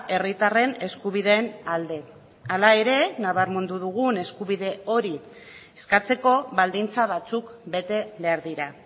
herritarren eskubideen alde hala ere nabarmendu dugun eskubide hori eskatzeko baldintza batzuk bete behar dira